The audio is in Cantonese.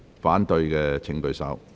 反對的請舉手。